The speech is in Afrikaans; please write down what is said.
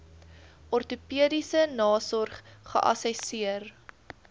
ortopediese nasorg geassesseer